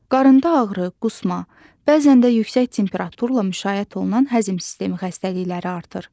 Qarında ağrı, qusma, bəzən də yüksək temperaturla müşayiət olunan həzm sistemi xəstəlikləri artır.